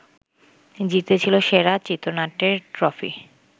জিতেছিল সেরা চিত্রনাট্যের ট্রফি